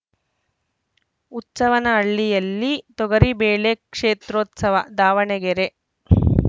ಹುಚ್ಚವ್ವನಹಳ್ಳಿಯಲ್ಲಿ ತೊಗರಿ ಬೆಳೆ ಕ್ಷೇತ್ರೋತ್ಸವ ದಾವಣಗೆರೆ